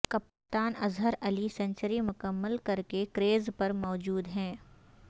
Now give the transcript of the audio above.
کپتان اظہر علی سنچری مکمل کر کے کریز پر موجود ہیں